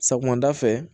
Sɔgɔmada fɛ